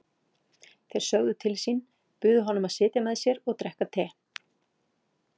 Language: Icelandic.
Þeir sögðu til sín, buðu honum að sitja með sér og drekka te.